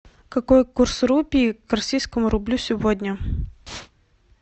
какой курс рупий к российскому рублю сегодня